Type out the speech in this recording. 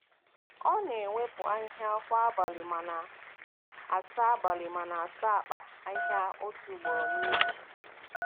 Ọ na-ewepụ ahịhịa kwa abalị ma na-asa abalị ma na-asa akpa ahịhịa otu ugboro n’izu.